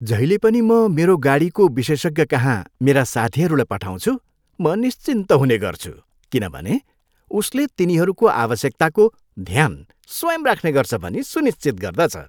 जहिले पनि म मेरो गाडीको विशेषज्ञकहाँ मेरा साथीहरूलाई पठाउँछु म निश्चिन्त हुने गर्छु, किनभने उसले तिनीहरूको आवश्यकताको ध्यान स्वयं राख्ने गर्छ भनी सुनिश्चित गर्दछ।